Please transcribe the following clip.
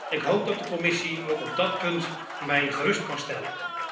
Ik hoop dat de Commissie ook op dat punt mij gerust kan stellen.